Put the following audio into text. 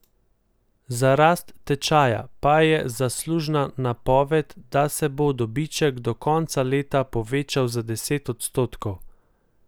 Za rast tečaja pa je zaslužna napoved, da se bo dobiček do konca leta povečal za deset odstotkov.